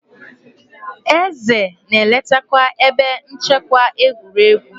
Eze na-eletakwa ebe nchekwa egwuregwu.